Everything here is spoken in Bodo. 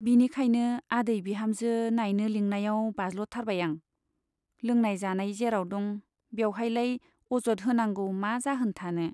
बिनिखायनो आदै बिहामजो नाइनो लिंनायाव बाज्ल' थारबाय आं , लोंनाय जानाय जेराव दं बेउहायलाय अजत होनांगौ मा जाहोन थानो।